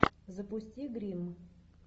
запусти грим